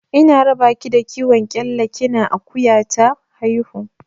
Ina raba ki da kiwon kyalla kina akuya ta haihu.